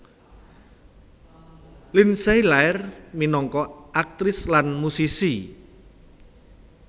Lindsay lair minangka aktris lan musisi